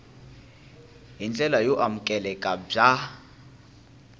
hi ndlela yo amukeleka bya